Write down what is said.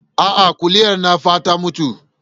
A'a kuliyar nan fa ta mutu